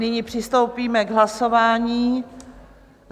Nyní přistoupíme k hlasování.